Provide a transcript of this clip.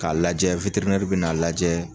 K'a lajɛ bɛ n'a lajɛ